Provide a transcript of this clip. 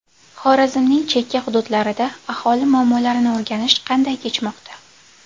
Xorazmning chekka hududlarida aholi muammolarini o‘rganish qanday kechmoqda?.